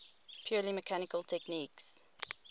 purely mechanical techniques